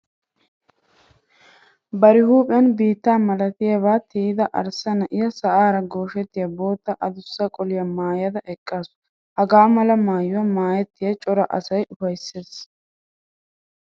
Bari huuphiyan biitta malatiyaba tiyida arssa na'iya sa'ara gooshettiya bootta adussa qoliya maayada eqqaasu. Hagaa mala maayuwa maayettay cora asaa ufaysses.